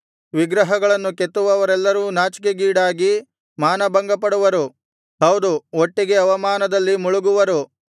ವಿಗ್ರಹಗಳನ್ನು ಕೆತ್ತುವವರೆಲ್ಲರೂ ನಾಚಿಕೆಗೀಡಾಗಿ ಮಾನಭಂಗಪಡುವರು ಹೌದು ಒಟ್ಟಿಗೆ ಅವಮಾನದಲ್ಲಿ ಮುಳುಗುವರು